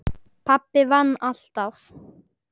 Pabbi vann alltaf.